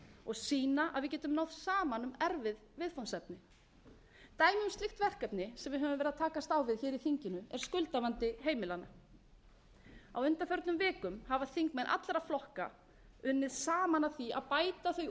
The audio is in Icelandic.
og sýna að við getum náð saman um erfið viðfangsefni dæmi um slíkt verkefni sem við höfum verið að takast á við hér í þinginu er skuldavandi heimilanna á undanförnum vikum hafa þingmenn allra flokka unnið saman að því að bæta þau úrræði sem til staðar eru fyrir